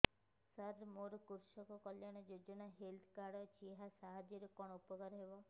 ସାର ମୋର କୃଷକ କଲ୍ୟାଣ ଯୋଜନା ହେଲ୍ଥ କାର୍ଡ ଅଛି ଏହା ସାହାଯ୍ୟ ରେ କଣ ଉପକାର ହବ